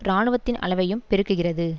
இராணுவத்தின் அளவையும் பெருக்குகிறது